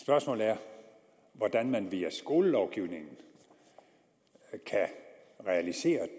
spørgsmålet er hvordan man via skolelovgivningen kan realisere